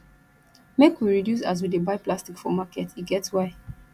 make we reduce as we dey buy plastic for market e get why